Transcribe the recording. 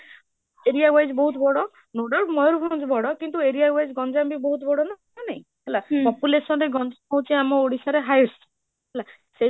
area wise ବହୁତ ବଡ ଯୋଉଟା ମୟୂରବନଜ ବଡ କିନ୍ତୁ area wise ଗଞ୍ଜୟମ ବି ବହୁତ ବଡ ନା ନାହି, ହେଲା population ରେ ଆମ ଗଣଜ୍ଞମ ହାଉଛି ଆମ ଓଡିଶାରେ highest, ହେଲା ସେଇ